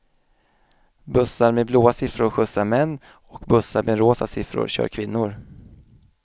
Bussar med blåa siffror skjutsar män och bussar med rosa siffror kör kvinnor.